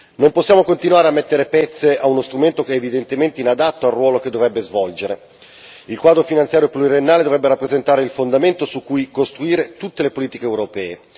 Non possiamo continuare a mettere pezze a uno strumento che evidentemente è inadatto al ruolo che dovrebbe svolgere il quadro pluriennale finanziario dovrebbe rappresentare il fondamento su cui costruire tutte le politiche europee.